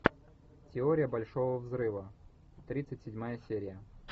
теория большого взрыва тридцать седьмая серия